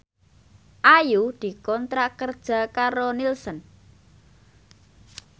Ayu dikontrak kerja karo Nielsen